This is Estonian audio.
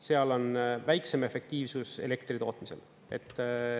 Seal on väiksem efektiivsus elektri tootmisel.